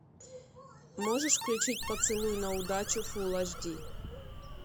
можешь включить поцелуй на удачу фулл аш ди